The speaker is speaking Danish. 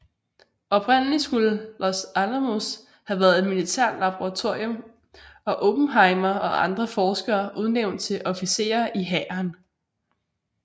Oprindelig skulle Los Alamos have været et militært laboratorium og Oppenheimer og andre forskere udnævnt til officerer i hæren